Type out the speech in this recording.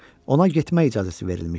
Ona getmək icazəsi verilmişdi.